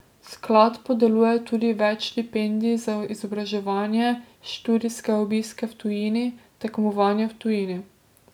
Sklad podeljuje tudi več štipendij za izobraževanje, študijske obiske v tujini, tekmovanja v tujini ...